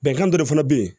Bɛnkan dɔ de fana bɛ yen